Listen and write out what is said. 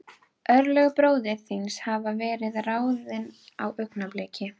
Vægt leigugjaldið innifelur smáskammt af brauði frá móðurklaustrinu.